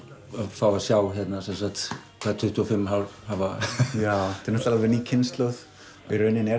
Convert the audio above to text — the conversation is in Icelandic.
fá að sjá hvað tuttugu og fimm ár hafa já þetta er náttúrulega ný kynslóð í rauninni er